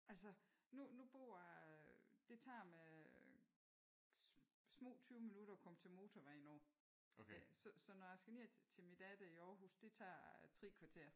Altså nu nu bor jeg det tager mig små 20 minutter at komme til motorvejen nu. Så når jeg skal ned til min datter i Aarhus det tager 3 kvarter